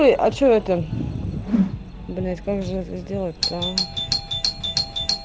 а что это блять как же это сделать то а